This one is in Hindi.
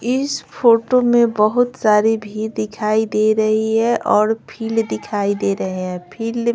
इस फोटो में बहुत सारी भी दिखाई दे रही है और फील दिखाई दे रहे हैं फिर--